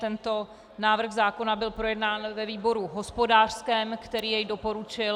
Tento návrh zákona byl projednán ve výboru hospodářském, který jej doporučil...